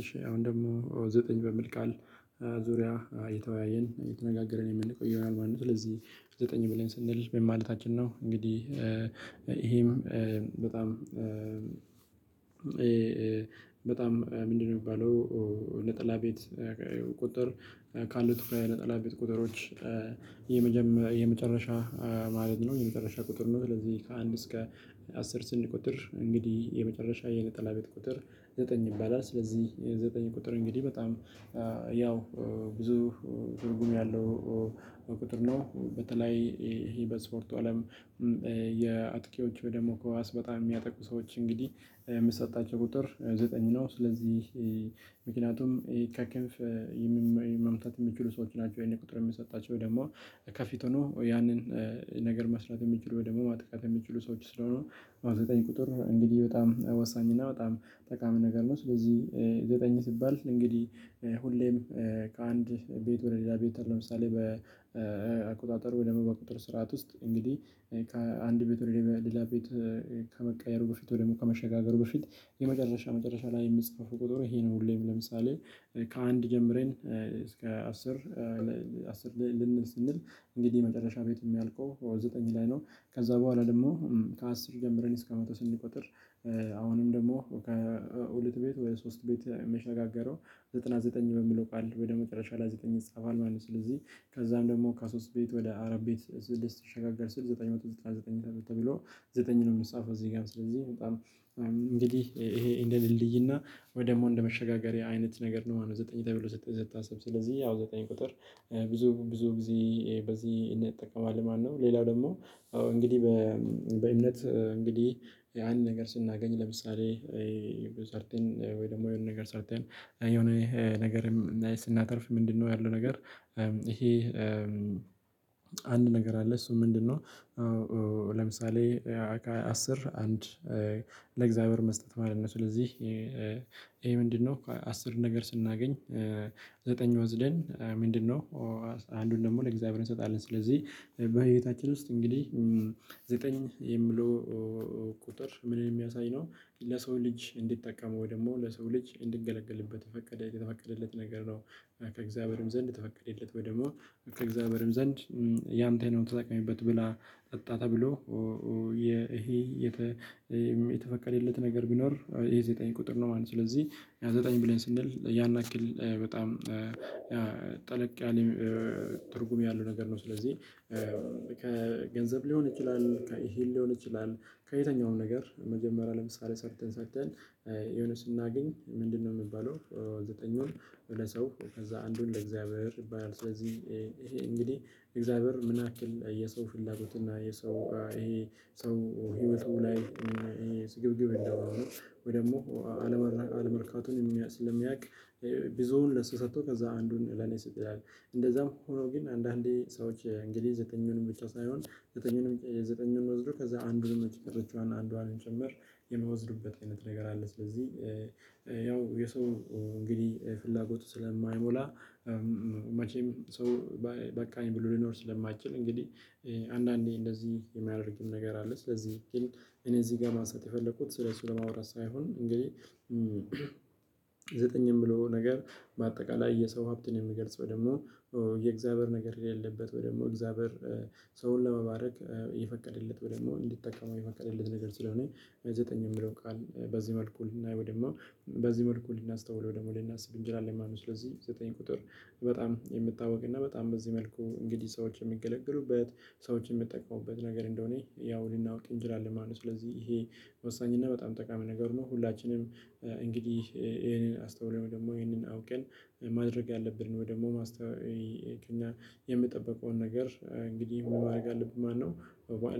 እሺ አሁን ደግሞ ዘጠኝ በሚል ቃል ዙሪያ እየተወያየን እየተነጋገረን የምንቆይ ይሆናል ማለት ነው። ስለዚህ ዘጠኝ ብለን ስንል ምን ማለታችን ነው? እንግዲህ ይሄም በጣም በጣም ምንድነው የሚባለው? ነጠላ ቤት ቁጥር ካሉት ትኩረት ነጠላ ቤት ቁጥሮች የመጀመሪያ የመጨረሻ ማለት ነው የመጨረሻ ቁጥር ነው። ስለዚህ ከአንድ እስከ አስር ስንቆጥር እንግዲህ የመጨረሻ የነጠላ ቤት ቁጥር ዘጠኝ ይባላል። ስለዚህ የዘጠኝ ቁጥር እንግዲህ በጣም ያው ብዙ ትርጉም ያለው ነው። በተለይ ይሄ በስፖርቱ አለም የአጥቂዎቹ ደግሞ ኳስ በጣም የሚያጠቁ ሰዎች እንግዲህ የምሰጣቸው ቁጥር ዘጠኝ ነው። ስለዚህ ምክንያቱም ይህ ከክንፍ መምታት የሚችሉ ሰዎች ናቸው። ይሄን ቁጥር የሚሰጣቸው ደግሞ ከፊት ሆኖ ያንን ነገር መስራት የሚችሉ ወይ ደግሞ ማጥቃት የሚችሉ ሰዎች ስለሆኑ ዘጠኝ ቁጥር እንግዲህ በጣም ወሳኝ እና በጣም ጠቃሚ ነገር ነው። ስለዚህ የዘጠኝ ሲባል እንግዲህ ሁሌም ከአንድ ቤት ወደ ሌላ ቤት ለምሳሌ በአቆጣጠር ወደ በቁጥር ስርዓት ውስጥ እንግዲህ ከአንድ ቤት ወይም ሌላ ቤት ከመቀየሩ በፊት ወይም ከመሸጋገሩ በፊት የመጨረሻ መጨረሻ ላይ የሚፃፈው ቁጥር ይሄ ነው። ሁሌም ለምሳሌ ከአንድ ጀምረን እስከ አስር አስር ላይ ልንል ስንል እንግዲህ የመጨረሻ ቤት የሚያልቀው ዘጠኝ ላይ ነው ከዛ በኋላ ደግሞ ከአስር ጀምረን እስከ መቶ ስንቆጥር አሁንም ደግሞ ከሁለት ቤት ወደ ሶስት ቤት የሚሸጋገረው ዘጠና ዘጠኝ በሚለው ቃል ወደ መጨረሻ ላይ ዘጠኝ ይጻፋል ማለት ነው። ስለዚህ ከዛም ደግሞ ከ ሶስት ቤት ወደ አራት ቤት ልንሸጋገር ስል ዘጠኝ መቶ ዘጠና ዘጠኝ ተብሎ ዘጠኝ ነው። የሚጻፈው እዚህ ጋር ስለዚህ በጣም እንግዲህ ይሄ እንደ ድልድይ እና ወይ ደግሞ እንደ መሸጋገሪያ አይነት ነገር ነው ማለት ነው። ዘጠኝ ተብሎ ዘጠኝ ተብሎ ሲታሰብ ስለዚህ አዎ ዘጠኝ ቁጥር ብዙ ብዙ ጊዜ በዚህ እንጠቀማለን ማለት ነው። ሌላው ደግሞ እንግዲህ በእምነት ያን ነገር ስናገኝ ለምሳሌ ወይ ደግሞ የሆነ ነገር ሰርተን የሆነ ነገርም ስናተርፍ ምንድነው ያለው ነገር? ይሄ አንድ ነገር አለ እሱ ምንድነው? ለምሳሌ አስር አንድ ለእግዚአብሔር መስጠት ማለት ነው። ስለዚህ ይሄ ምንድነው አስር ነገር ስናገኝ ዘጠኝ ወስደን ምንድነው ደግሞ ለእግዚአብሔር እንሰጣለን። ስለዚህ በህይወታችን ውስጥ እንግዲህ ዘጠኝ የሚለው ቁጥር ምንነ የሚያሳይ ነው። ለሰው ልጅ እንዲጠቀመው ደግሞ ለሰው ልጅ እንድንገለግልበት የፈቀደ የተፈቀደለት ነገር ነው። ከእግዚአብሔርም ዘንድ የተፈቀደለት ወይ ደግሞ ከእግዚአብሔርም ዘንድ ያንተ ነው። ተጠቀምበት ብላ ጠጣ ተብሎ። ይሄ የተፈቀደለት ነገር ቢኖር የዘጠኝ ቁጥር ነው ማለት ነው። ስለዚህ ዘጠኝ ብለን ስንል ያን ያክል በጣም ጠለቅ ያለ ትርጉም ያለው ነገር ነው። ስለዚህ ከገንዘብ ሊሆን ይችላል ከእሂል ሊሆን ይችላል። ከየትኛውም ነገር መጀመሪያ ለምሳሌ ሰርተን ሰርተን የሆነ ስናገኝ ምንድነው የሚባለው ዘጠኙን? ሰው ከዛ አንዱን ለእግዚአብሔር ይባል ስለዚህ ይሄ እንግዲህ እግዚአብሔር ምን ያክል የሰው ፍላጎት እና የሰው ይሄ ሰው ህይወቱ ላይ እና ይሄ ስግብግብ እንደሆነ ወይ ደግሞ አለመርካቱን ስለሚያውቅ ብዙውን ለሱ ሰጥቶ ከዛ አንዱን ለኔ ስጥ ይላል እንደዛም ሆኖ ግን አንዳንዴ ሰዎች እንግዲህ ዘጠኙንም ብቻ ሳይሆን ዘጠኙንም ዘጠኙንም ወስዶ ከዛ አንዱን መቼ ቀረችዋና አንዷንም ጭምር የምወዝድበት አይነት ነገር አለ። ስለዚህ ያው የሰው እንግዲህ ፍላጎቱ ስለማይሞላ መቼም ሰው በቃኝ ብሎ ሊኖር ስለማይችል እንግዲህ አንዳንዴ እንደዚህ የሚያደርግም ነገር አለ። ስለዚህ ግን እኔ እዚህ ጋር ማንሳት የፈለኩት ስለሱ ለማውራት ሳይሆን እንግዲህ ዘጠኝ የምለው ነገር። በአጠቃላይ የሰው ሀብትን የሚገልጽ ወይ ደግሞ የእግዚአብሔር ነገር የሌለበት ወይ ደግሞ እግዚአብሔር ሰውን ለመባረክ የፈቀደለት ወይም ደግሞ እንዲጠቀሙ የፈቀደለት ነገር ስለሆነ ዘጠኝ የሚለውን ቃል በዚህ መልኩ ልናይ ውይም ደሞ በዚህ መልኩ ልናስተውለው ደግሞ ልናስብ እንችላለን ማለት ነው። ስለዚህ ዘጠኝ ቁጥር በጣም የሚታወቅ እና በጣም በዚህ መልኩ እንግዲህ ሰዎች የሚገለግሉበት ሰዎች የሚጠቀሙበት ነገር እንደሆነ ያው ልናቅ እንችላለን ማለት ነው። ስለዚህ ይሄ ወሳኝ እና በጣም ጠቃሚ ነገር ነው። ሁላችንም እንግዲህ ይሄንን አስተውለን ደግሞ ይሄንን አውቀን ማድረግ አለብን ደግሞ ማስተዋወቅ እኛ ነገር እንግዲህ ምን ማድረግ አለብን ማለት ነው።